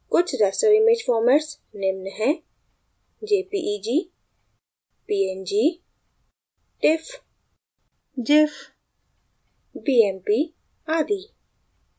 कुछ raster image formats निम्न हैं: jpeg png tiff gif bmp आदि